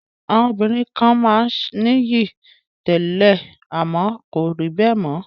Àwọn obìnrin kan máa ń nìyí tẹ́lẹ̀ àmọ́ kò ríbẹ̀ mọ